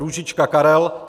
Růžička Karel